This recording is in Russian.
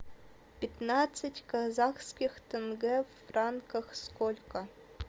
пятнадцать казахских тенге в франках сколько